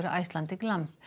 Icelandic lamb